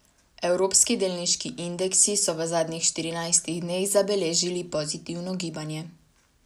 Evropski delniški indeksi so v zadnjih štirinajstih dneh zabeležili pozitivno gibanje.